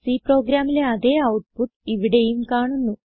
C പ്രോഗ്രാമിലെ അതേ output ഇവിടെയും കാണുന്നു